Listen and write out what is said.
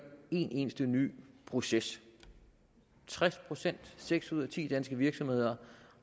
en eneste ny proces tres procent seks ud af ti danske virksomheder